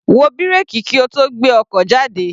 Wo bírèkì kí o tó gbé ọkọ̀ jáde.